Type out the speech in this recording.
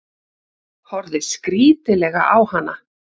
Horfði skrítilega á hana.